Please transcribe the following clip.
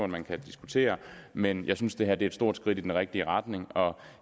man kan diskutere men jeg synes det her er et stort skridt i den rigtige retning og